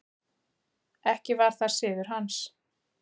Ekki var það siður hans.